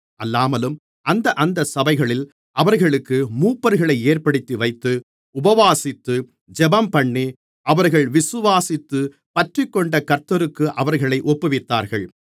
அல்லாமலும் அந்தந்த சபைகளில் அவர்களுக்கு மூப்பர்களை ஏற்படுத்தி வைத்து உபவாசித்து ஜெபம்பண்ணி அவர்கள் விசுவாசித்துப் பற்றிக்கொண்ட கர்த்தருக்கு அவர்களை ஒப்புவித்தார்கள்